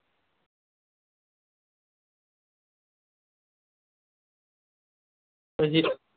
હજી તો